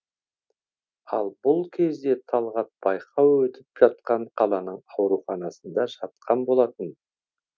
ал бұл кезде талғат байқау өтіп жатқан қаланың ауруханасында жатқан болатын